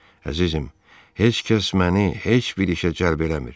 Əzizim, heç kəs məni heç bir işə cəlb eləmir.